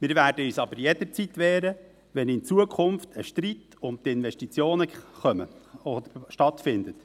Wir werden uns aber jederzeit wehren, wenn in Zukunft ein Streit um die Investitionen stattfindet.